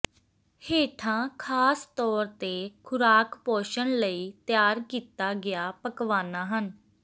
ਹੇਠਾਂ ਖਾਸ ਤੌਰ ਤੇ ਖੁਰਾਕ ਪੋਸ਼ਣ ਲਈ ਤਿਆਰ ਕੀਤਾ ਗਿਆ ਪਕਵਾਨਾ ਹਨ